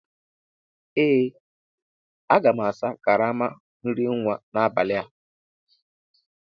Ee aga m asa karama nri nwa n'abalị a